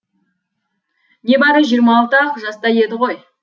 небәрі жиырма алты ақ жаста еді ғой